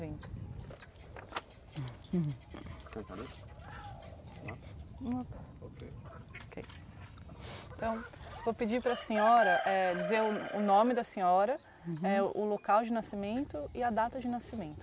Então. Vou pedir para a senhora uhum, dizer o nome da senhora, o local de nascimento e a data de nascimento.